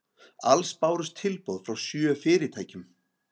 Alls bárust tilboð frá sjö fyrirtækjum